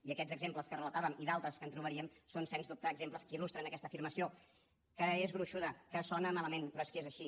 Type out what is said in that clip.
i aquests exemples que relatàvem i d’altres que trobaríem són sens dubte exemples que il·lustren aquesta afirmació que és gruixuda que sona malament però és que és així